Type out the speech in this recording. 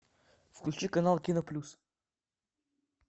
включи канал кино плюс